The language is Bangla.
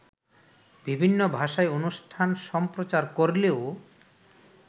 বিভিন্ন ভাষায় অনুষ্ঠান সম্প্রচার করলেও